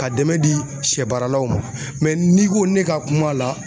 Ka dɛmɛn di sɛbaaralaw ma n'i ko ne ka kum'a la